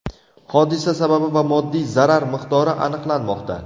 Hodisa sababi va moddiy zarar miqdori aniqlanmoqda.